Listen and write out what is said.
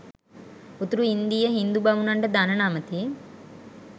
උතුරු ඉන්දීය හිංදු බමුණන්ට දණ නමති.